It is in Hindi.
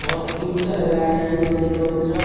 बहुत क्यूट सा लग रहा है यह बकरी का बच्चा।